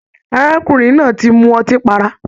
Arákùnrin náà tí mú ọtí pará.